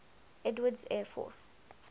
edwards air force